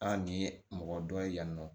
An nin ye mɔgɔ dɔ ye yan nɔ